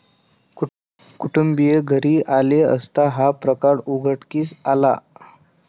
कुटुंबीय घरी आले असता हा प्रकार उघडकीस आला.